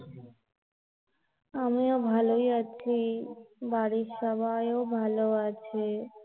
আমিও ভালোই আছি, বাড়ির সবাই ও ভালো আছে